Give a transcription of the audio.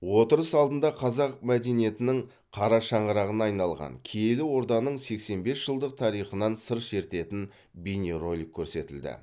отырыс алдында қазақ мәдениетінің қара шаңырағына айналған киелі орданың сексен бес жылдық тарихынан сыр шертетін бейнеролик көрсетілді